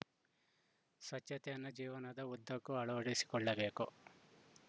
ಸ್ವಚ್ಛತೆಯನ್ನು ಜೀವನದ ಉದ್ದಕ್ಕೂ ಅಳವಡಿಸಿಕೊಳ್ಳಬೇಕು